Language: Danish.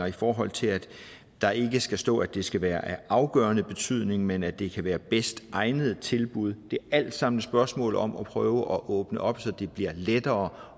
i forhold til at der ikke skal stå at det skal være af afgørende betydning men at det kan være det bedst egnede tilbud det er alt sammen spørgsmål om at prøve at åbne op så det bliver lettere